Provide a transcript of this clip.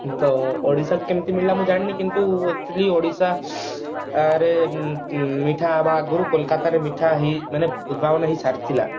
ତ ଓଡିଶା ର କେମିତି ହେଲା ମୁଁ ଜାଣିନୀ କିନ୍ତୁ actually ଓଡିଶା ଆରେ ମିଠା ହେବା ଆଗରୁ କୋଲକାତା ରେ ମିଠା ହେଇ ମାନେ ଉଦ୍ଭାବନ ହେଇ ସାରିଥିଲା